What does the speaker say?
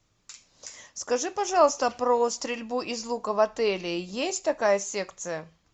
скажи пожалуйста про стрельбу из лука в отеле есть такая секция